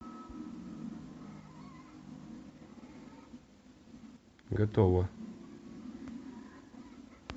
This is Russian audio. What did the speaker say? готово